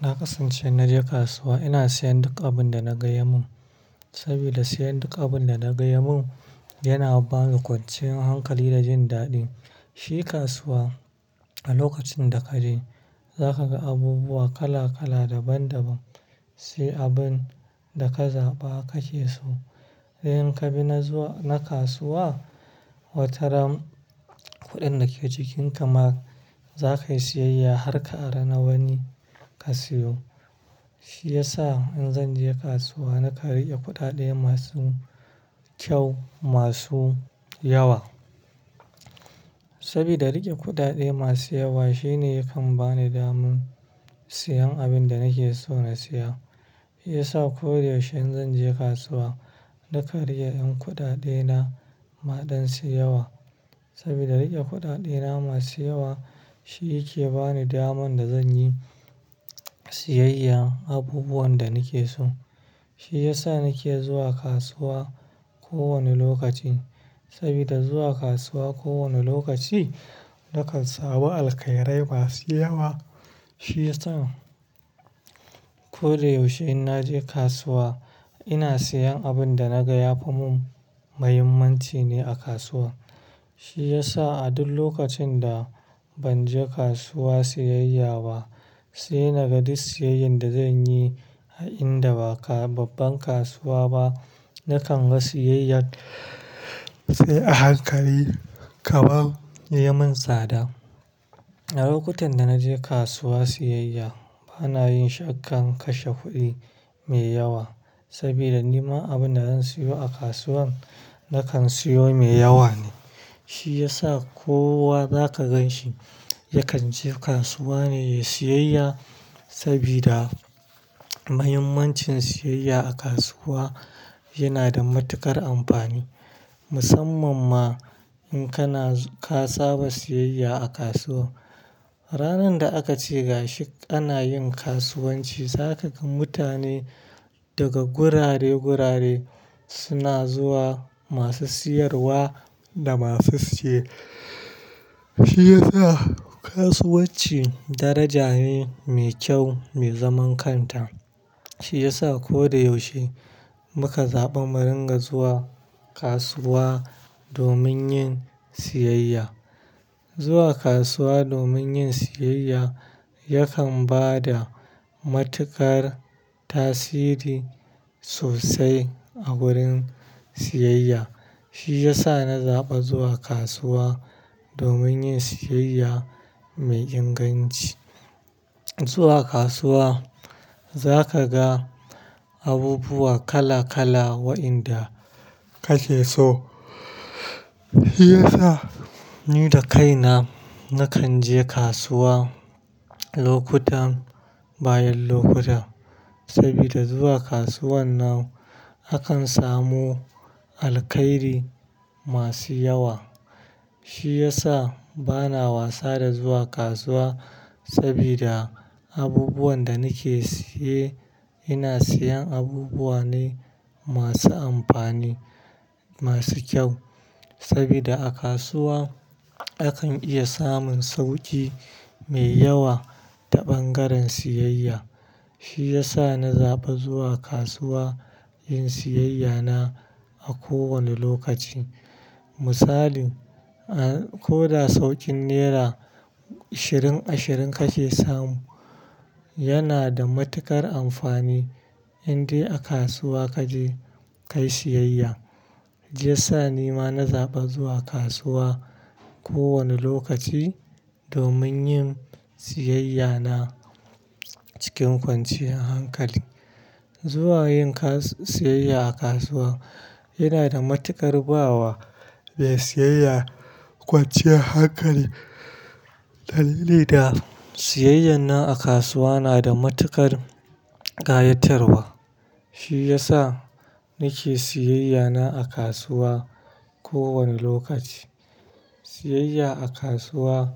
Na kasance idan na je kasuwa, ina sayan duk abin da na ga ya yi min. Saboda sayan duk abin da na ga ya yi min yana bani kwanciyar hankali da jin daɗi. Shi kasuwa a lokacin da ka je, za ka ga abubuwa kala-kala, daban-daban. Shi abin da ka zaɓa kake so. Sai indan ka bi na zuwa, na kasuwa, watarana kuɗin da ke jikinka ma za ka yi sayayya har ka aro na wani ka sayo. Shi ya sa in zan je kasuwa nakan rike kuɗaɗe masu kyau, masu yawa. Saboda riƙe kuɗaɗe masu yawa shine yakan ba ni damar sayen abin da nake so na saya. Shi Ya sa ko da yaushe idan zan je kasuwa, ina riƙe ɗan kuɗina masu yawa. Saboda riƙe kuɗaɗe na masu yawa shi yake ba ni damar da zan yi sayayya abubuwan da nake so. Shi ya sa nake zuwa kasuwa ko wane lokaci. Saboda zuwa kasuwa ko wane lokaci, na kan samu alkairai masu yawa. Shi yasa ko da yaushe idan na je kasuwa, ina sayan abin da na ga yafi min muhimmanci ne a kasuwa. Shi ya sa a duk lokacin da ban je kasuwa sayayya ba, sai na ga duk sayayyar da zan yi a inda ba ta kasance babbar kasuwa ba. Na kan ga sayayyar sai a hankali kamar ya yi min tsada. A lokutan da na je kasuwa sayayya, bana yin sha'awar kashe kuɗi mai yawa. Saboda ni ma abin da zan sayo a kasuwar, na kan sayo mai yawa ne. Shi ya sa kowa zaka gan shi, yakan je kasuwa ne yayi sayayya. Sabida muhimmancin siyayya a kasuwa yana da matuƙar amfani. Musamman ma in ka saba sayayya a kasuwa. Ranar da aka ce gashi ana yin kasuwanci, za ka ga mutane daga gurare-gurare suna zuwa masu siyarwa da masu siye. Shi ya sa kasuwanci daraja ne mai kyau, mai zaman kanta. Shi ya sa ko da yaushe muka zaɓi mu rika zuwa kasuwa domin yin sayayya. Zuwa kasuwa domin yin siyayya yakan ba da matuƙar tasiri sosai a wurin siyayya. Shi ya sa na zaɓi zuwa kasuwa domin yin sayayya mai inganci. Zuwa kasuwa za ka ga abubuwa kala-kala waɗanda kake so. Shi ya sa ni da kaina na kan je kasuwa lokaci bayan lokaci. Saboda zuwa kasuwar nan akan samu alkairi masu yawa. Shi ya sa ba na wasa da zuwa kasuwa saboda abubuwan da nake saye, ina sayen abubuwa ne masu amfani, masu kyau. Saboda a kasuwa akan iya samun sauki mai yawa ta bangaren sayayya. Saboda a kasuwa akan iya samun sauki mai yawa ta bangaren siyayya. Misali, ah, ko da saukin naira ashirin, ashirin kake samu yana da matuƙar amfani idan dai a kasuwa kaje kayi sayayya. Shi Ya sa ni ma na zaɓi zuwa kasuwa ko wane lokaci domin yin sayayya na cikin kwanciyar hankali. Zuwa yin sayayya a kasuwa yana da matuƙar ba wa mai sayayya kwanciyar hankali. Dalili da sayayya nan a kasuwa yana da matuƙar kayatarwa. Shi ya sa nake siyayya na a kasuwa ko wane lokaci. Sayayya a kasuwa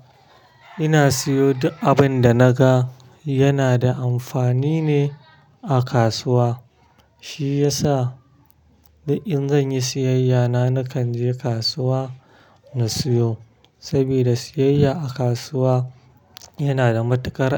ina sayo duk abin da na ga yana da amfani ne a kasuwa. Shi ya sa duk in zan yi sayayya na, na kan je kasuwa na sayo. Saboda sayayya a kasuwa yana da matuƙar.